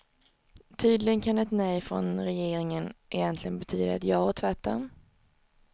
Tydligen kan ett nej från regeringen egentligen betyda ett ja och tvärtom.